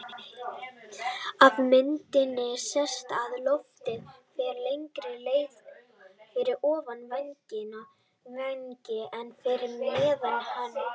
Af myndinni sést að loftið fer lengri leið fyrir ofan vænginn en fyrir neðan hann.